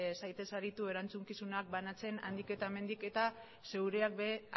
zaitez aritu erantzukizunak banatzen handik eta hemendik eta zeureak ere